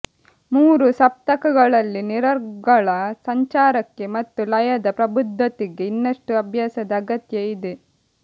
ಮೂರೂ ಸಪ್ತಕಗಳಲ್ಲಿ ನಿರರ್ಗಳ ಸಂಚಾರಕ್ಕೆ ಮತ್ತು ಲಯದ ಪ್ರಬುದ್ಧತೆಗೆ ಇನ್ನಷ್ಟು ಅಭ್ಯಾಸದ ಅಗತ್ಯ ಇದೆ